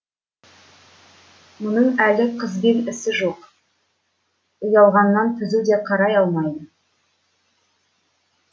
мұның әлі қызбен ісі жоқ ұялғаннан түзу де қарай алмайды